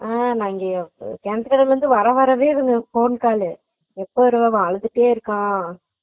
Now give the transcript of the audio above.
உம் பாவிய கிணற்துகடவுல இருந்து வர வர phone call உ எப்பவருவ அவே அழுதுட்டே இருக்கான்